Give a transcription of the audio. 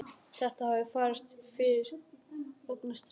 Þetta hefði farist fyrir vegna stríðsins.